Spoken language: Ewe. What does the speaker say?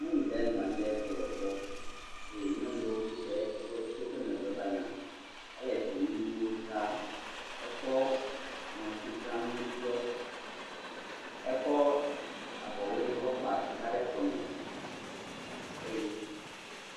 Nyɔnu ɖe nɔ anyi ɖe kplɔ gbɔ eye nyɔnu ɖewo tsɛ woto eƒe megbe va yina, ele dzonu nuwo dzra. Ekɔ ŋɔtiblanu ɖɔ. Ekɔ avɔ ʋe kɔ gba ɖe kɔme eye…